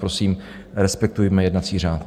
Prosím, respektujme jednací řád.